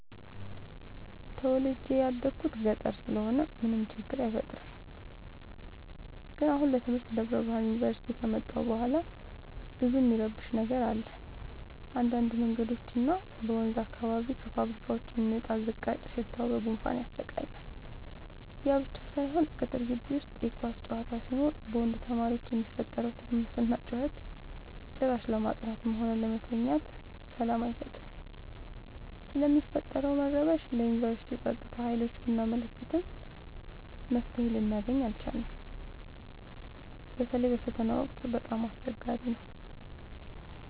ተወልጄ የደኩት ገጠር ስለሆነ ምንም ችግር አይፈጠርም። ግን አሁን ለትምህርት ደብረብርሃን ዮንቨርሲቲ ከመጣሁ በኋላ ብዙ እሚረብሽ ነገር አለ እንዳድ መንገዶች እና ወንዝ አካባቢ ከፋብካዎች የሚወጣው ዝቃጭ ሽታው በጉንፋን ያሰቃያል። ያብቻ ሳይሆን ቅጥር ጊቢ ውስጥ የኳስ ጨዋታ ሲኖር በወንድ ተማሪዎች የሚፈጠረው ትርምስና ጩኸት ጭራሽ ለማጥናትም ሆነ ለመተኛት ሰላም አይሰጥም። ስለሚፈጠረው መረበሽ ለዮንቨርስቲው ፀጥታ ሀይሎች ብናመለክትም መፍትሔ ልናገኝ አልቻልም። በተለይ በፈተና ወቅት በጣም አስቸገሪ ነው።